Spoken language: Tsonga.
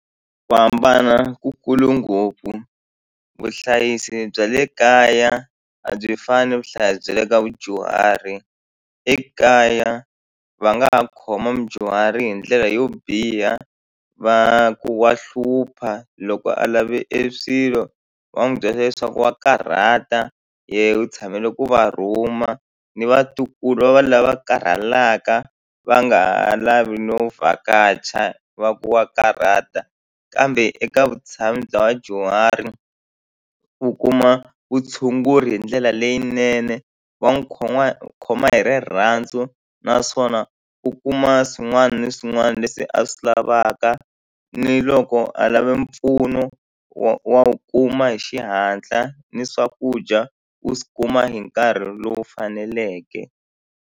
Ku hambana ku kulu ngopfu, vuhlayisi bya le kaya a byi fani ni vuhlayisi bya le ka vudyuhari ekaya va nga ha khoma mudyuhari hi ndlela yo biha va ku wa hlupha loko a lave e swilo va n'wi byela leswaku wa karhata yehe u tshamela ku va rhuma ni vatukulu va va lava karhalaka va nga ha lavi no vhakacha va ku wa karhata kambe eka vutshamo bya vadyuhari u kuma vutshunguri hi ndlela leyinene wa n'wi khomakhoma hi rirhandzu naswona u kuma swin'wana na swin'wana leswi a swi lavaka ni loko a lava mpfuno wa wa wu kuma hi xihatla ni swakudya u kuma hi nkarhi lowu faneleke.